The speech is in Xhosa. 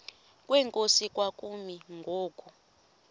kwenkosi kwakumi ngoku